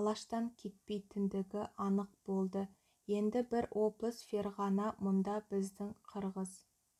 алаштан кетпейтіндігі анық болды енді бір облыс ферғана мұнда біздің қырғыз